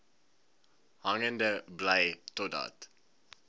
hangende bly totdat